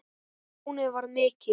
Tjónið varð mikið.